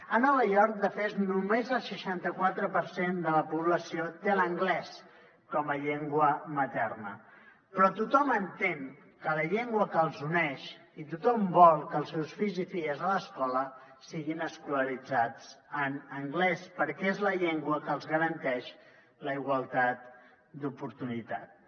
a nova york de fet només el seixanta quatre per cent de la població té l’anglès com a llengua materna però tothom entén que és la llengua que els uneix i tothom vol que els seus fills i filles a l’escola siguin escolaritzats en anglès perquè és la llengua que els garanteix la igualtat d’oportunitats